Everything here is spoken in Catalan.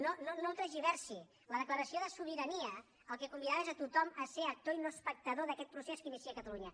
no ho tergiversi la declaració de sobirania al que convidava és a tothom ser actor i no espectador d’aquest procés que inicia catalunya